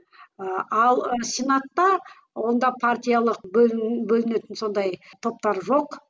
ы ал сенатта онда партиялық бөлін бөлінетін сондай топтар жоқ